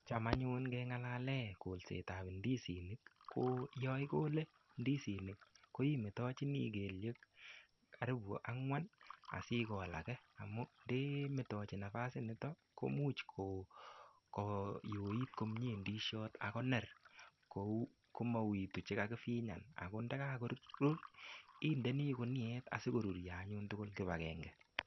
Cham anyun ngengalale kolsetab indisinik ko yoigole ndisinik koimetochini keltek karipu angwan asigol age amu ndemotochi nafasit nito komuch koyoit komie ndisiot ak koner komaukitu chekakifinyan ago ndakakorur indeni guniet asikorurio anyun tugul kipakenge.